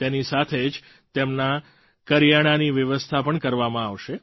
તેની સાથે જ તેમના કરિયાણાની વ્યવસ્થા પણ કરવામાં આવશે